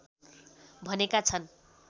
भनेका छन्